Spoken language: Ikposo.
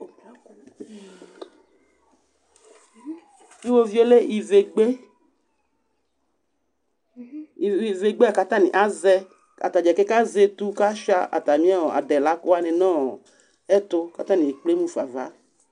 Tʋ iɣoviu yɛ lɛ ivegbe ivi ivegbe la kʋ atanɩ avɛ kʋ ata dza keke azɛ etu kʋ asʋɩa atamɩ adelakʋ wanɩ nʋ ɔ ɛtʋ kʋ atanɩ ekplemu fa ava